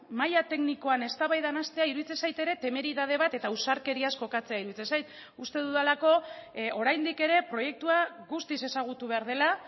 maila teknikoan eztabaidan hastea iruditzen zait ere temeridade bat eta ausarkeriaz jokatzea iruditzen zait uste dudalako oraindik ere proiektua guztiz ezagutu behar dela